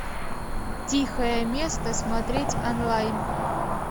тихое место смотреть онлайн